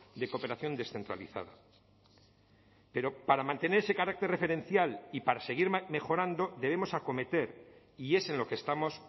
de cooperación descentralizada pero para mantener ese carácter referencial y para seguir mejorando debemos acometer y es en lo que estamos